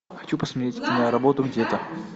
хочу посмотреть киноработу где то